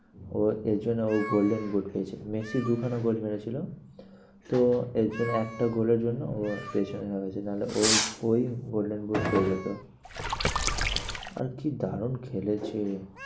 ও এর জন্য ও golden boot পেয়েছে। মেসি দু খানা goal মেরেছিলো তো এর জন্যে একটা goal এর জন্য ও পেছনে হয়ে গেছে। না হলে ও ওই golden boot পেয়ে যেত আর কি দারুন খেলেছে।